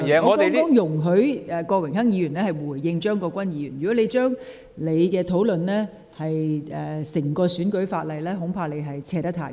我剛才容許郭榮鏗議員回應張國鈞議員的發言，但若你論及整體選舉法例，恐怕說得太遠。